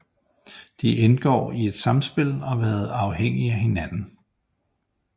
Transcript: De indgår i et samspil og har været afhængige af hinanden